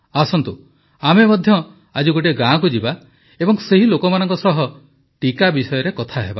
ଆସନ୍ତୁ ଆମେ ମଧ୍ୟ ଆଜି ଗୋଟିଏ ଗାଁକୁ ଯିବା ଏବଂ ସେହି ଲୋକମାନଙ୍କ ସହ ଟିକା ବିଷୟରେ କଥା ହେବା